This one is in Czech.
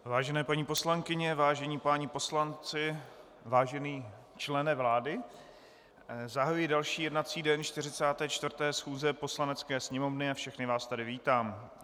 Vážené paní poslankyně, vážení páni poslanci, vážený člene vlády, zahajuji další jednací den 44. schůze Poslanecké sněmovny a všechny vás tady vítám.